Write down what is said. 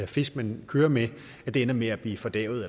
fisk man kører med ender med at blive fordærvet